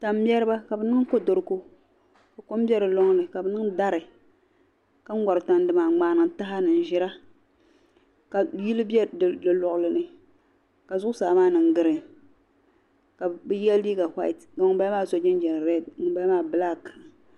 Tam'mɛriba ka bɛ niŋ kodoriko ka kom be di lɔŋ ni ka bɛ niŋ dari ka ŋɔri Tandi ka yili be di luɣili ni ka zuɣusaa maa niŋ giriin ka bɛ ye liiga whayiti ka ŋun bala maa so jinjam ʒee ŋun bala maa bilaaki.